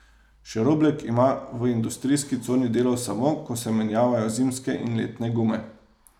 Še Roblek ima v industrijski coni delo samo, ko se menjavajo zimske in letne gume.